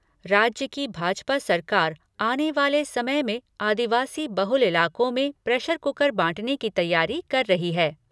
राज्य की भाजपा सरकार आने वाले समय में आदिवासी बहुल इलाकों में प्रेशर कुकर बांटने की तैयारी कर रही है।